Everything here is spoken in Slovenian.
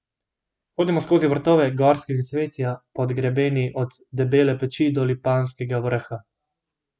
Hodimo skozi vrtove gorskega cvetja pod grebeni od Debele peči do Lipanskega vrha.